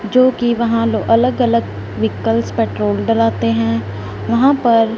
जो कि वहां लो अलग अलग वीकल्स पेट्रोल डलाते हैं वहां पर--